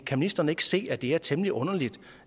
kan ministeren ikke se at det er temmelig underligt